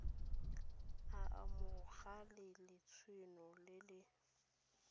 a amogela letseno le le